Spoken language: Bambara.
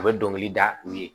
A bɛ dɔnkili da u ye